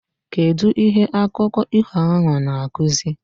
Kedu ihe akụko iho ahu na akuzi?